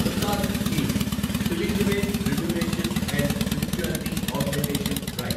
Prasad scheme pilgrimage rejuvenation and spirituality augmentation drive